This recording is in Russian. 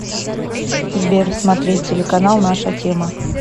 сбер смотреть телеканал наша тема